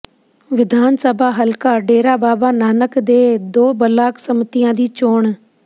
ਵਿਧਾਨ ਸਭਾ ਹਲਕਾ ਡੇਰਾ ਬਾਬਾ ਨਾਨਕ ਦੇ ਦੋ ਬਲਾਕ ਸੰਮਤੀਆਂ ਦੀ ਚੋਣ